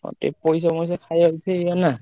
ଆଉ ଟିକେ ପଇସା ମଇସା ଖାୟାକୁ ଫି ଇଏନା।